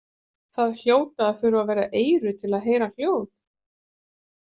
Það hljóta að þurfa vera eyru til að heyra hljóð.